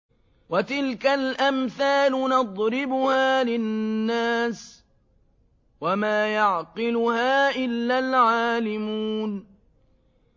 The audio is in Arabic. وَتِلْكَ الْأَمْثَالُ نَضْرِبُهَا لِلنَّاسِ ۖ وَمَا يَعْقِلُهَا إِلَّا الْعَالِمُونَ